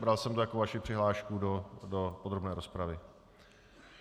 Bral jsem to jako vaši přihlášku do podrobné rozpravy.